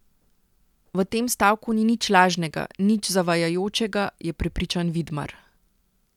V tem stavku ni nič lažnega, nič zavajajočega, je prepričan Vidmar.